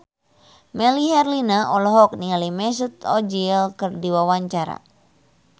Melly Herlina olohok ningali Mesut Ozil keur diwawancara